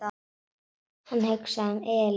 Hann hugsaði um Elísu.